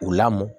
U lamɔ